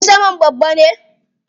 Jirgin saman babba ne?